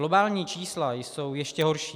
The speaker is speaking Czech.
Globální čísla jsou ještě horší.